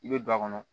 I bɛ don a kɔnɔ